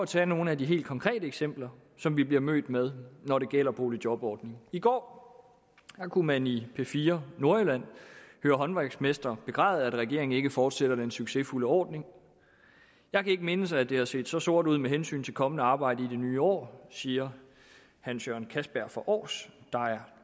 tage nogle af de konkrete eksempler som vi bliver mødt med når det gælder boligjobordningen i går kunne man i p4 nordjylland høre håndværksmestre begræde at regeringen ikke fortsætter den succesfulde ordning jeg kan ikke mindes at det har set så sort ud med hensyn til kommende arbejde i det nye år siger hans jørgen kastberg fra aars der er